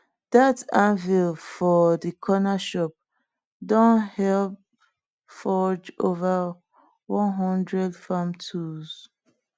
dat anvil for di corner shop don help forge ova one hundred farm tools